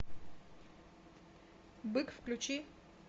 бык включи